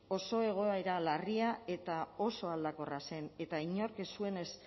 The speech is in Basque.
oso egoera larria eta oso aldakorra zen eta inork ez zuen ez